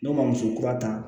N'o ma muso kura ta